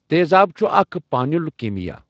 تیزٕاب چھُ اَکھ پانُیل کیٖمیا